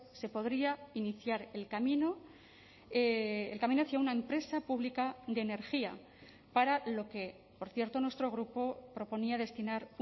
se podría iniciar el camino el camino hacía una empresa pública de energía para lo que por cierto nuestro grupo proponía destinar